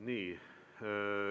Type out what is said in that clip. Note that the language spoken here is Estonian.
Nii.